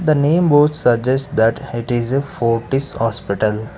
the name board suggest that it is a fortes hospital.